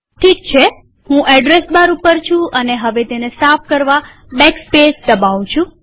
ઠીક છેહું address bar પર છું અને હવે તેને સાફ કરવા બેકસ્પેસ દબાવું છું